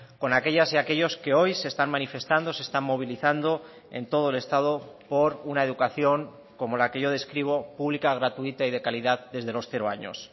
con aquellas y aquellos que hoy se están manifestando se están movilizando en todo el estado por una educación como la que yo describo pública gratuita y de calidad desde los cero años